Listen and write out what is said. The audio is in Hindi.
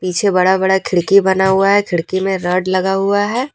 पीछे बड़ा बड़ा खिड़की बना हुआ है खिड़की में रड लगा हुआ है।